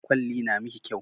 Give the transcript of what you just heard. Ƙwalli na miki kyau